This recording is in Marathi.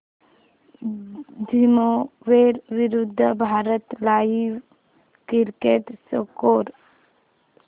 झिम्बाब्वे विरूद्ध भारत लाइव्ह क्रिकेट स्कोर